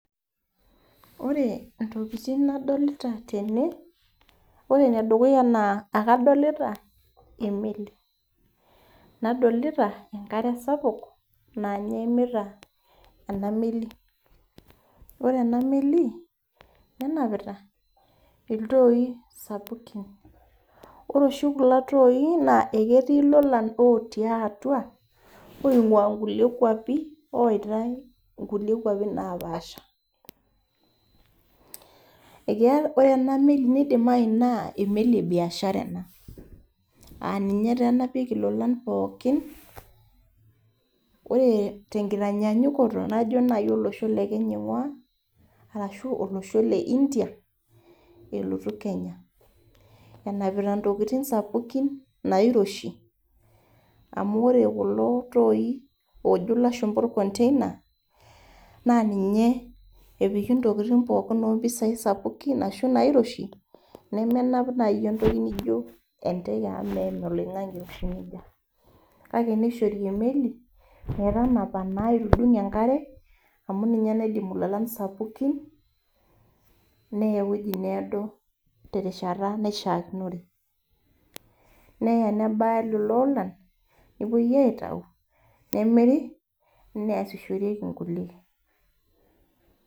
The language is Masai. Ore ntokiting nadolita tene naa ore nedukuya ekadolita emeli, nadolita enkare sapuk naa ninye eimita ena meli ,ore ena meli nenapita iltooi sapukin ,ore oshi kulo toooi naa ketiimlolan otii atua oingua nkulie kwapi aitae nkulie kwapi naapaasha ,ore ena meli neidimayu naa emeli ebiashara ena aa ninye taa enapieki lolan pookin ,ore naaji tenkaitanyaanyukoto najo naaji olosho lekenya aingua orashu olosho le India elotu kenya ,enapita ntokiting sapukin nairoshi amu ore kulo tooi oojo lashumpa orkonteina naa ninye epiki ntokiting pookin opisai sapukin ashu nairoshi nemenap naajo entoki naijo enteke amu meim oloingange eiroshi nejia. kake neishori naa emeli metanapa aitudung enkare amu ninye naa naidimu lolan sapukin neya eweji needo terishata naishaakinore .neya nebaya lelo olan ,nepuoi aitayu nemiri niasishoreki nkulie.